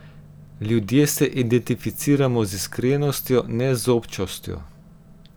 Ljudje se identificiramo z iskrenostjo, ne z občostjo.